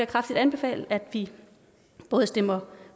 kraftigt anbefale at vi både stemmer